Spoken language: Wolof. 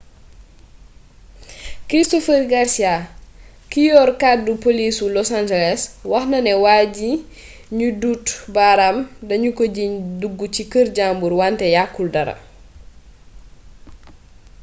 christopher garcia ki yor kàddu polisu loas angeles wax na ne waa ji nu duut baraam danu ko jiiñ dug ci kër jàmbur wante yakkul dara